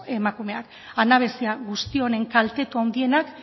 emakumeak anabasa guzti honen kaltetu handienak